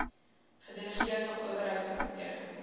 gedelegeerde owerheid oorweging